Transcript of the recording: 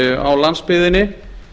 á landsbyggðinni